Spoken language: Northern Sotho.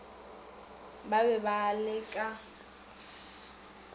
ba be ba le ka